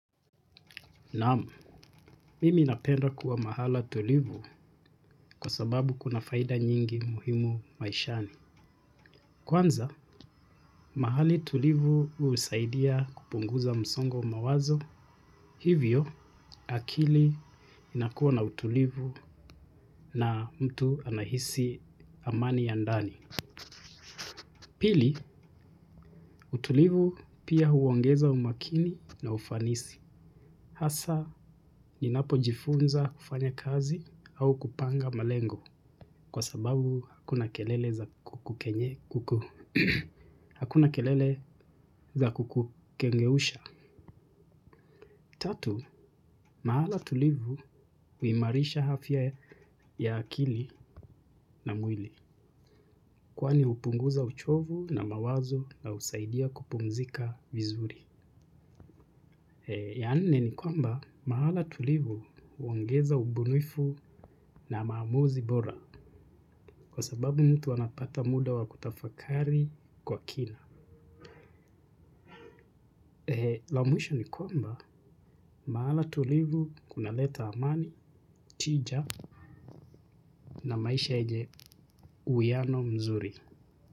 Naam mimi napenda kuwa mahala tulivu kwa sababu kuna faida nyingi muhimu maishani. Kwanza, mahali tulivu husaidia kupunguza msongo wa mawazo. Hivyo, akili inakuwa na utulivu na mtu anahisi amani ya ndani. Pili, utulivu pia huongeza umakini na ufanisi. Hasa ninapojifunza kufanya kazi au kupanga malengo kwa sababu hakuna kelele za kukengeusha. Tatu, mahala tulivu huimarisha afya ya akili na mwili. Kwani hupunguza uchovu na mawazo na husaidia kupumzika vizuri. Ya nne ni kwamba mahala tulivu huongeza ubunifu na maamuzi bora kwa sababu mtu anapata muda wa kutafakari kwa kina. La mwisho ni kwamba mahala tulivu kunaleta amani, tija na maisha yenye uhuiano mzuri.